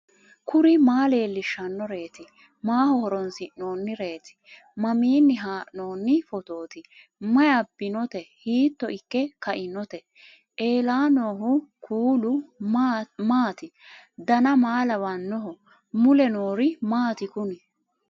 kuri maa leellishannoreeti maaho horoonsi'noonnireeti mamiinni haa'noonni phootooti mayi abbinoote hiito ikke kainote ellannohu kuulu maati dan maa lawannoho mule noori maati kuni